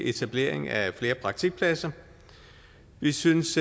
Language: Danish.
etablering af flere praktikpladser vi synes